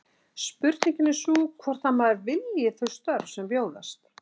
Spurningin er sú hvort að maður vilji þau störf sem bjóðast.